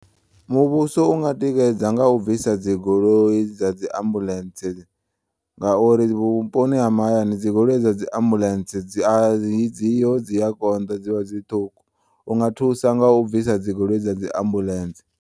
Muvhuso unga tikedza nga u bvisa dz igoloi dza dzi ambulentse ngauri vhuponi ha mahayani dzi goloi dza dzi ambulentse dzia adziho dziakonḓa dzivha dzi ṱhukhu u nga thusa nga u bvisa dzi goloi dza dzi ambulentse.